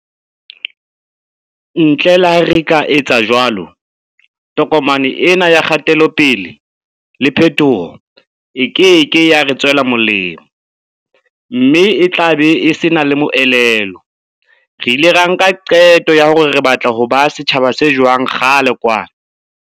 Ntle le ha re ka etsa jwalo, tokomane ena ya kgatelope-le le phetoho e keke ya re tswela molemo mme e tlabe e sena le moelelo. Re ile ra nka qeto ya hore re batla ho ba setjhaba se jwang kgale kwana.